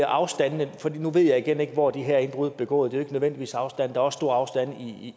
afstandene men nu ved jeg igen ikke hvor de her indbrud er begået det afhænger ikke nødvendigvis af afstande der er også store afstande